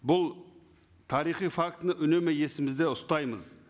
бұл тарихи фактіні үнемі есімізде ұстаймыз